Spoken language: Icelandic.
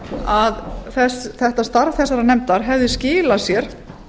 að þetta starf þessarar nefndar hefði skilað sér